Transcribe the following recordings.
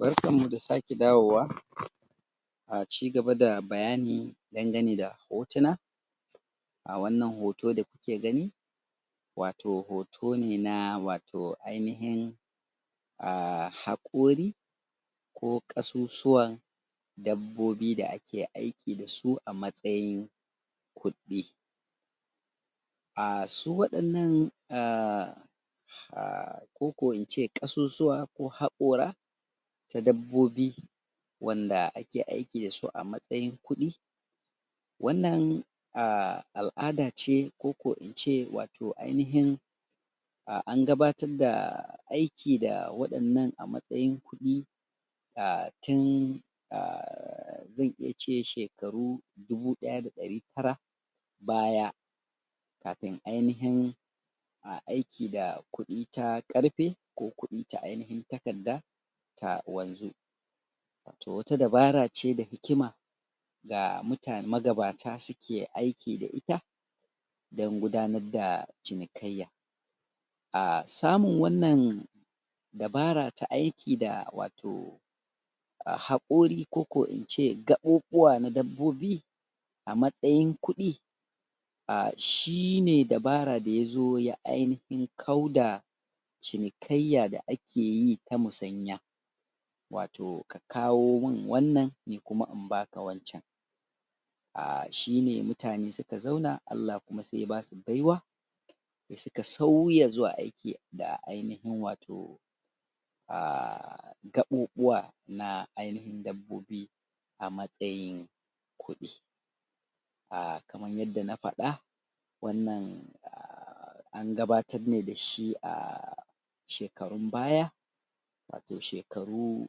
Barkanmu da sake dawowa a cigaba da bayani dangane da hotuna a wannan hoto da ku ke gani wato hoto ne na wato ainihin aa haƙori ko ƙasusuwan dabbobi da ake aiki da su a matsayin kuɗɗi aa su waɗannan aa aa ko ko in ce ƙasusuwa ko haƙora ta dabbobi wanda ake aiki da su a matsayin kuɗi, wannan aa al’ada ce ko ko in ce wato ainihin a an gabatar da aiki da waɗannan a matsayin kuɗi a tun aaa zan iya ce shekaru dubu ɗaya da ɗari tara baya kafin ainahin aiki da kuɗi ta ƙarfe, ko kuɗi ta ainihin takarda ta wanzu wato wata dabara ce da hikima ga mutane maganata suke aiki da ita don gudanar da cinikayya aaa samun wannan dabara ta aiki da wato haƙori ko ko in ce gaɓoɓuwa na dabbabi a matsayin kuɗi aa shi ne dabara da ya zo ya ainifin kau da cinikayya da ake yi ta musanya, wato ka kawo min wannan ni kuma in baka wancan aa shi ne mutane suka zauna Allah kuma sai ya basu baiwa suka sauya zuwa aiki da ainihin wato aa gaɓoɓuwa na ainihin dabbabi a matsayin a kamar yadda na faɗa wannan an gabatar ne da shi aa shekarun baya wato shekaru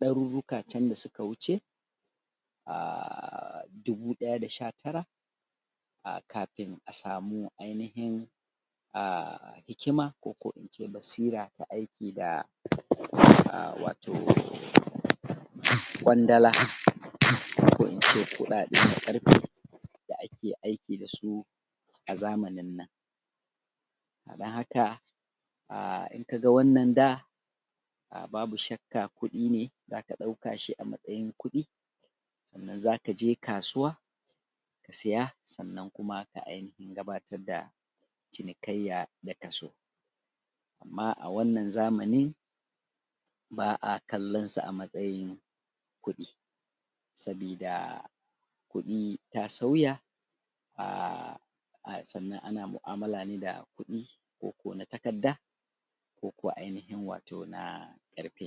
ɗaruruka can da suka wuce aa dubu ɗaya da sha tara aa kafin a samu ainihin aa hikima ko ko in ce basira ta aiki da? wato ƙwandala, ko in ce kuɗaɗe na ƙarfe da ake aiki da su a zamanin nan don haka aa in kaga wannan da a babu shakka kuɗi ne zaka ɗauka shi a matsayin kuɗi, zaka je kasuwa siya sannan kuma ka ainihin gabatar da cinikayya da ka so ma a wannan zamanin ba a kallon su a matsayin kuɗi sabida kuɗi ta sauya aaa a sannan ana mu’amala ne da kuɗi ko ko na takarda ko ko ainihin wato na ƙarfe